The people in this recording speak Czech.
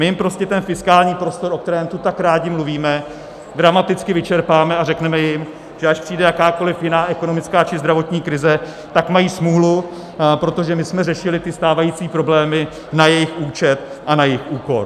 My jim prostě ten fiskální prostor, o kterém tu tak rádi mluvíme, dramaticky vyčerpáme a řekneme jim, že až přijde jakákoliv jiná ekonomická či zdravotní krize, tak mají smůlu, protože my jsme řešili ty stávající problémy na jejich účet a na jejich úkor.